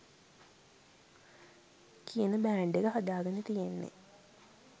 කියන බෑන්ඩ් එක හදාගෙන තියෙන්නෙ.